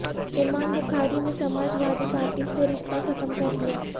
امام بخاری نے Samajwadi Party سے رشتہ ختم کر لیا